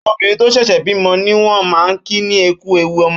Óbirin tó ṣẹṣẹ bimọ niwọn mà n kí ní ''Ẹkù éwù ọmọ